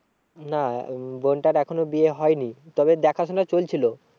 না আহ বোনটার এখনো বিয়ে হয়নি। তবে দেখা শোনা চলছিল।